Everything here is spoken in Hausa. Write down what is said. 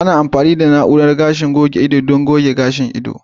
Ana amfani da na'urar goge gashin ido don goge gashin ido.